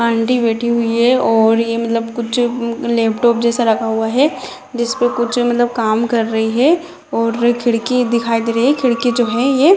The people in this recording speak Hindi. आंटी बैठी हुई है और ये मतलब कुछ लैपटॉप जैसा रखा हुआ है जिस पे कुछ काम कर रही है और खिड़की दिखाई दे रही है खिड़की जो है ये --